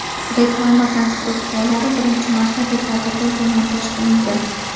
Reklama konstruksiyalari birinchi marta dekabrda demontaj qilingan.